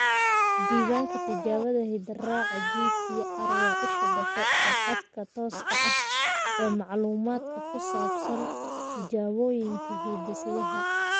Diiwaanka Tijaabada Hidde-raaca (GTR) waa isha dhexe ee khadka tooska ah ee macluumaadka ku saabsan tijaabooyinka hidde-sidaha.